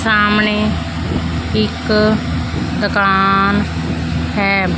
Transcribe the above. ਸਾਹਮਣੇ ਇੱਕ ਦਕਾਨ ਹੈ।